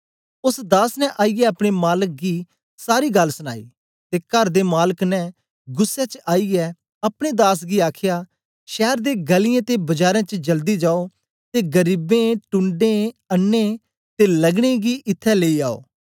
ओस दास ने आईयै अपने मालक गी सारी गल्ल सनाई ते कर दे मालक ने गुस्सै च आईयै अपने दास गी आखया शैर दे गलीयें ते बजारें च जल्दी जाओ ते गरीबें ढूणडें अन्नें ते लंगडें गी इत्थैं लेई आओ